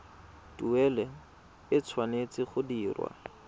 tuelo e tshwanetse go dirwa